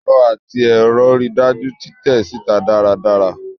Ẹrọ ati ẹrọ rii daju titẹ sita daradara